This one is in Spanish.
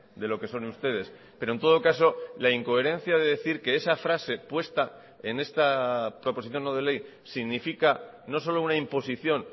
de lo que son ustedes pero en todo caso la incoherencia de decir que esa frase puesta en esta proposición no de ley significa no solo una imposición